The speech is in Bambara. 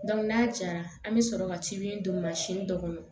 n'a cayara an bɛ sɔrɔ ka ci min don dɔ kɔnɔ